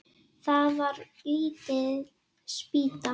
Það var lítil spýta.